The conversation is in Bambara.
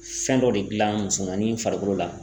Fɛn dɔ de gilan musomanin farikolo la